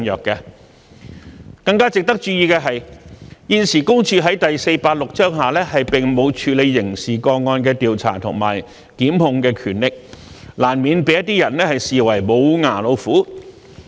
更值得注意的是，現時，私隱公署在第486章下並沒有處理刑事個案的調查及檢控權力，難免被一些人視為"無牙老虎"。